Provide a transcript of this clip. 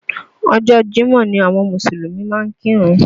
Ọjọ́ Jímọ̀ ni àwọn Mùsùlùmí máa ń kírun